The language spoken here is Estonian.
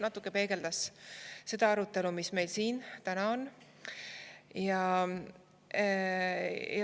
Natuke peegeldab seda see arutelu, mis meil siin täna on.